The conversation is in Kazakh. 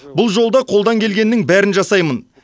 бұл жолда қолдан келгеннің бәрін жасаймын